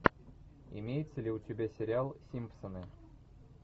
имеется ли у тебя сериал симпсоны